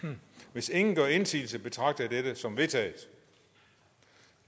hvis ingen gør indsigelse betragter jeg dette som vedtaget